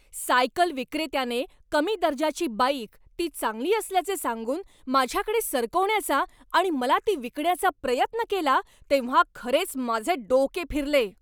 Cycle विक्रेत्याने कमी दर्जाची बाईक, ती चांगली असल्याचे सांगून माझ्याकडे सरकवण्याचा आणि मला ती विकण्याचा प्रयत्न केला तेव्हा खरेच माझे डोके फिरले.